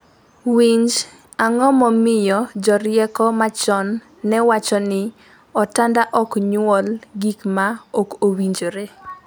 Winj, ango momiyo jorieko machon newacho ni “otanda ok nyuol gik ma ok owinjore”?